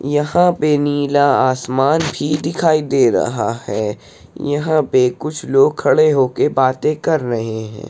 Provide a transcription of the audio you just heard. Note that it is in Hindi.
यहाँ पे नीला आसमान भी दिखाई दे रहा है। यहाँ पे कुछ लोग खड़े होके बाते कर रहे हैं।